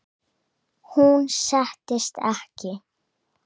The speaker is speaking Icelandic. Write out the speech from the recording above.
Hún settist ekki.